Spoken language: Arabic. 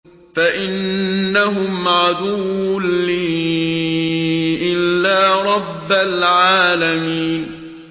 فَإِنَّهُمْ عَدُوٌّ لِّي إِلَّا رَبَّ الْعَالَمِينَ